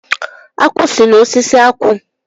Akwụ si na osisi akwụ.